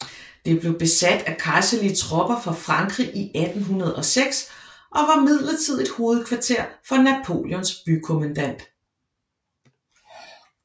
Det blev besat af kejserlige tropper fra Frankrig i 1806 og var midlertidigt hovedkvarter for Napoleons bykommandant